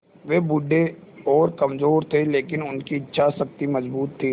वे बूढ़े और कमज़ोर थे लेकिन उनकी इच्छा शक्ति मज़बूत थी